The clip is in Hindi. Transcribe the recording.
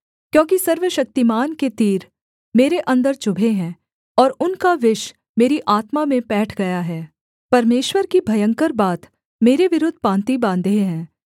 क्योंकि सर्वशक्तिमान के तीर मेरे अन्दर चुभे हैं और उनका विष मेरी आत्मा में पैठ गया है परमेश्वर की भयंकर बात मेरे विरुद्ध पाँति बाँधे हैं